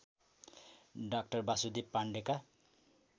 डा वासुदेव पाण्डेका